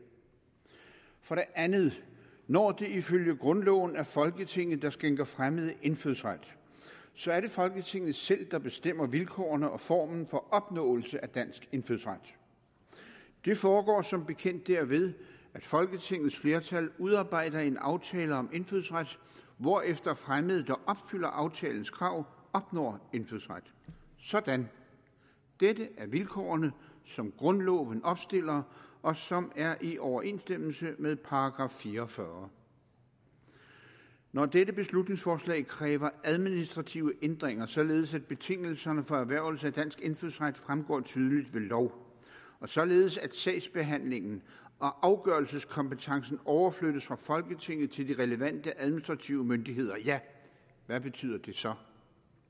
for det andet når det ifølge grundloven er folketinget der skænker fremmede indfødsret så er det folketinget selv der bestemmer vilkårene og formen for opnåelse af dansk indfødsret det foregår som bekendt derved at folketingets flertal udarbejder en aftale om indfødsret hvorefter fremmede der opfylder aftalens krav opnår indfødsret sådan dette er vilkårene som grundloven opstiller og som er i overensstemmelse med § fire og fyrre når dette beslutningsforslag kræver administrative ændringer således at betingelserne for erhvervelse af dansk indfødsret fremgår tydeligt ved lov og således at sagsbehandlingen og afgørelseskompetencen overflyttes fra folketinget til de relevante administrative myndigheder ja hvad betyder det så